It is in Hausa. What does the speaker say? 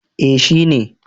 Eh shi ne